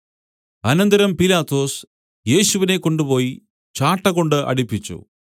അനന്തരം പീലാത്തോസ് യേശുവിനെ കൊണ്ടുപോയി ചാട്ടകൊണ്ട് അടിപ്പിച്ചു